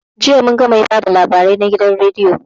Jiya munga mai ba da labarai na gidan rediyo